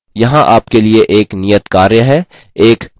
यहाँ आपके लिए एक नियतकार्य है